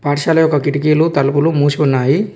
పాఠశాల యొక్క కిటికీలు తలుపులు మూసి ఉన్నాయి.